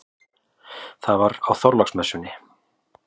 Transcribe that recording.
Það var á Þorláksmessunni.